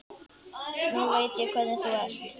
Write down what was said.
Nú veit ég hvernig þú ert!